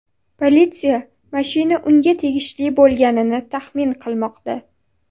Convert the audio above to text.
Politsiya mashina unga tegishli bo‘lganini taxmin qilmoqda.